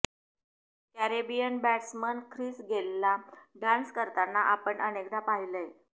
Caribbean batsman Chris गेलला dance करतांना आपण अनेकदा पाहिलंय